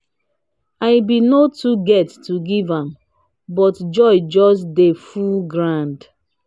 i been no too get to give am but joy just dey full groud